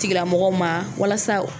Tigilamɔgɔw ma walasa